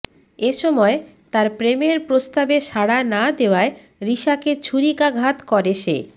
এ সময় তার প্রেমের প্রস্তাবে সাড়া না দেওয়ায় রিশাকে ছুরিকাঘাত করে সে